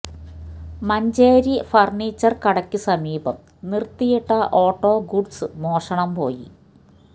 Manjeri furniture കടക്കു സമീപം നിര്ത്തിയിട്ട ഓട്ടോ ഗുഡ്സ് മോഷണം പോയി